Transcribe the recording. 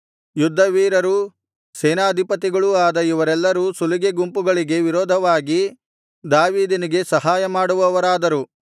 ಯುದ್ಧವೀರರೂ ಸೇನಾಧಿಪತಿಗಳೂ ಆದ ಇವರೆಲ್ಲರೂ ಸುಲಿಗೆ ಗುಂಪುಗಳಿಗೆ ವಿರೋಧವಾಗಿ ದಾವೀದನಿಗೆ ಸಹಾಯಮಾಡುವವರಾದರು